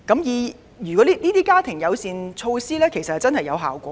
事實上，推行家庭友善措施真的有成效。